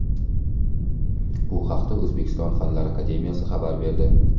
Bu haqda O‘zbekiston Fanlar akademiyasi xabar berdi .